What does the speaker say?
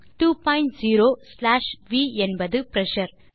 20 slash V என்பது pressure